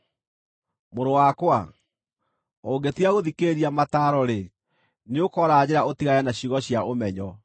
Mũrũ wakwa, ũngĩtiga gũthikĩrĩria mataaro-rĩ, nĩũkoora njĩra ũtigane na ciugo cia ũmenyo.